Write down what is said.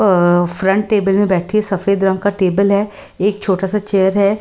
अ front table में बैठी है सफेद रंग का टेबल है एक छोटा सा चेयर है।